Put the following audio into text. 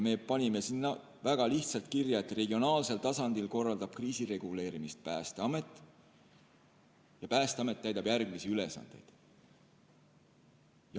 Me panime sinna väga lihtsalt kirja, et regionaalsel tasandil korraldab kriisireguleerimist Päästeamet ja Päästeamet täidab järgmisi ülesandeid.